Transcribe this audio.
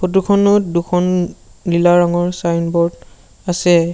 Photo খনত দুখন নীলা ৰংৰ চাইনবোৰ্ড আছে।